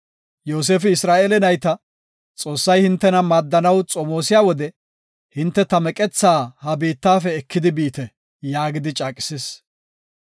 Yoosefi Isra7eele nayta, “Xoossay hintena maaddanaw xomoosiya wode, hinte ta meqetha ha biittafe ekidi biite” yaagidi caaqisis.